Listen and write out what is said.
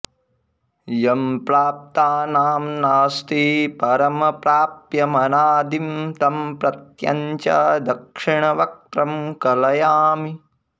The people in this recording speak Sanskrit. यं प्राप्तानां नास्ति परं प्राप्यमनादिं तं प्रत्यञ्चं दक्षिणवक्त्रं कलयामि